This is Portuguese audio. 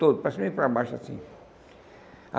Todo, para cima e para baixo, assim.